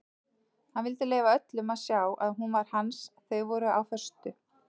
Hann vildi leyfa öllum að sjá að hún var hans þau voru á föstu.